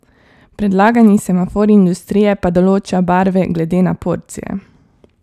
Predlagani semafor industrije pa določa barve glede na porcije.